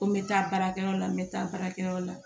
Ko n bɛ taa baarakɛyɔrɔ la n bɛ taa baarakɛyɔrɔ la